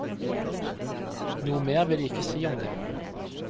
Noe mer vil jeg ikke si om det.